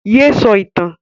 Yé sọ ìtàn!